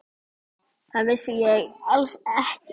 Það vissi ég alls ekki.